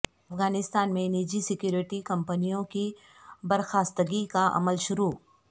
افغانستان میں نجی سکیورٹی کمپنیوں کی برخاستگی کا عمل شروع